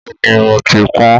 Bẹ́ẹ̀ni, mo ti pọn-ọ̧́n.